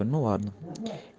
ну ладно